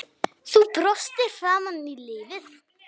Þú brostir framan í lífið.